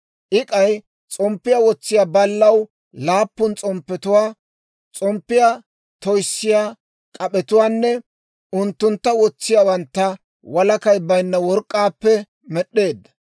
I k'ay s'omppiyaa wotsiyaa ballaw laappun s'omppetuwaa, s'omppiyaa toyssiyaa k'ap'etuwaanne unttuntta wotsiyaawantta walakay baynna work'k'aappe med'd'eedda.